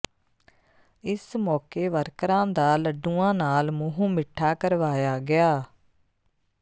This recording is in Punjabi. ਇਸ ਮੌਕੇ ਵਰਕਰਾਂ ਦਾ ਲੱਡੂਆਂ ਨਾਲ ਮੂੰਹ ਮਿੱਠਾ ਕਰਵਾਇਆ ਗਿਆ